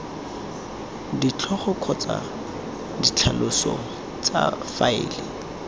ditlhogo kgotsa ditlhaloso tsa faele